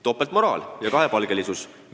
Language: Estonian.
Topeltmoraal ja kahepalgelisus!